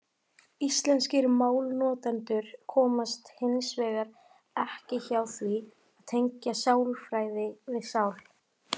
Íslenskir málnotendur komast hins vegar ekki hjá því að tengja sálarfræði við sál.